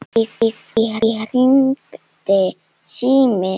Í því hringdi síminn.